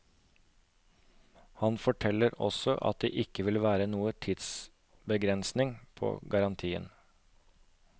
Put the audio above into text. Han forteller også at det ikke vil være noen tidsbegrensning på garantien.